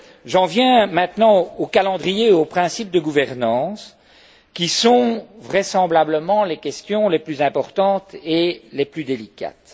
J'en viens maintenant au calendrier et aux principes de gouvernance qui sont vraisemblablement les questions les plus importantes et les plus délicates.